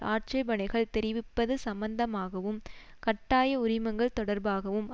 ஆட்சேபனைகள் தெரிவிப்பது சம்மந்தமாகவும் கட்டாய உரிமங்கள் தொடர்பாகவும்